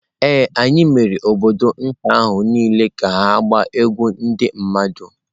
Ee, anyị mere obodo nta ahụ niile ka ha na-agba egwú ndị mmadụ.